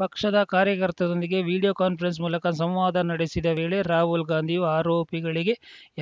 ಪಕ್ಷದ ಕಾರ್ಯಕರ್ತದೊಂದಿಗೆ video conference ಮೂಲಕ ಸಂವಾದ ನಡೆಸಿದ ವೇಳೆ ರಾಹುಲ್‌ ಗಾಂಧಿಯು ಆರೋಪಗಳಿಗೆ